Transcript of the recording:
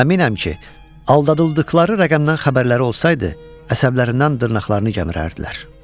Əminəm ki, aldadıldıqları rəqəmdən xəbərləri olsaydı, əsəblərindən dırnaqlarını gəmirərdilər.